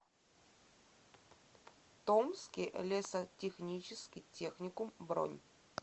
томский лесотехнический техникум бронь